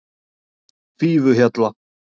Fífuhjalla